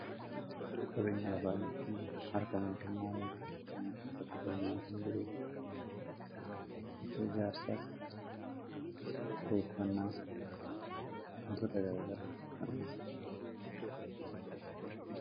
qabeeny alabaayattin markamootan maayaafam katigalmaay fan diruu tako ijaarsaaf kireeffannaa huntoota gagarefanna